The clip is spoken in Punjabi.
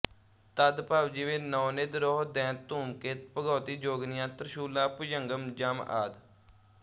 ਤਦਭਵ ਜਿਵੇਂ ਨਉਨਿਧ ਰੋਹ ਦੈਂਤ ਧੁਮਕੇਤ ਭਗਉਤੀ ਜੋਗਣੀਆਂ ਤ੍ਰਸੂਲਾਂ ਭੁਜੰਗਮ ਜਮ ਆਦਿ